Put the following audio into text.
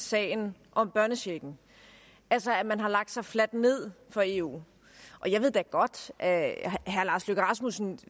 sagen om børnechecken altså at man har lagt sig fladt ned for eu jeg ved da godt at herre lars løkke rasmussen